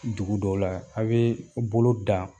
Dugu dɔw la a' bee bolo da